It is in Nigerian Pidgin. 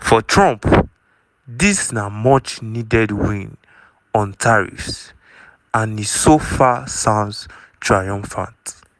for trump dis na much-needed "win" on tariffs - and e so far sounds triumphant.